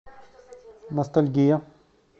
ностальгия